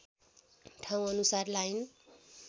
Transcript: ठाउँ अनुसार लाइन